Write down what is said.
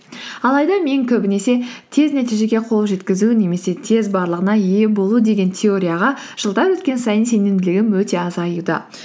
алайда мен көбінесе тез нәтижеге қол жеткізу немесе тез барлығына ие болу деген теорияға жылдар өткен сайын сенімділігім өте азаюда